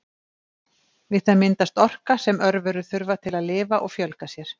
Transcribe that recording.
við það myndast orka sem örverur þurfa til að lifa og fjölga sér